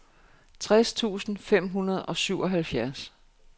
tres tusind fem hundrede og syvoghalvfjerds